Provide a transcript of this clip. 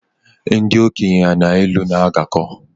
Ndị okenye na ilu na agakọ